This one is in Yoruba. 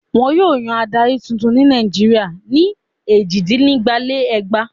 Wọn yóò yan adarí tuntun ní Nàìjíríà ní èjìdínígba-lé-ẹgbàá.